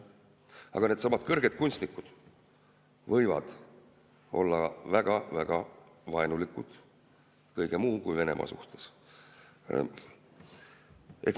Aga needsamad kõrged kunstnikud võivad olla väga-väga vaenulikud kõige muu kui Venemaa suhtes.